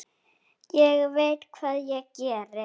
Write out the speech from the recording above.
Ég veit hvað ég geri.